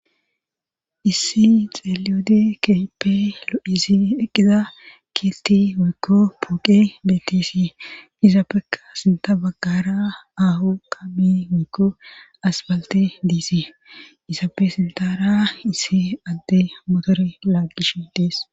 issi xeeliyode keehipe lo7izi eqqiza kilti woykko puuqe betisi izaabeka sinta baggara ahu qami woykko as balte diisi izaabe sintara issi adde motore laagish dees